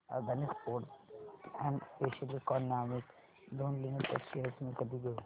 Adani ports and special economic zone limited shares मी कधी घेऊ